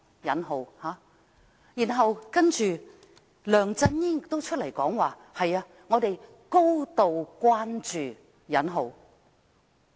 然後，梁振英亦出來表示"高度關注"。